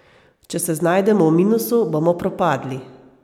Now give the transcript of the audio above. Če se znajdemo v minusu, bomo propadli.